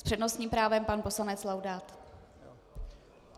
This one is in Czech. S přednostním právem pan poslanec Laudát.